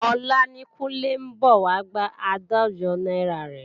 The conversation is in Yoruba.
Ọ̀la ni Kúnlé ń bọ̀ wá gba àádọ́jọ náírà rẹ̀